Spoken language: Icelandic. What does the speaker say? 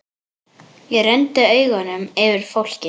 Ég renndi augunum yfir fólkið.